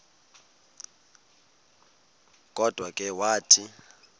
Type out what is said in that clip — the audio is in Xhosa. kodwa ke wathi